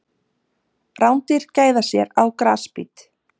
Rándýr gæða sér á grasbít.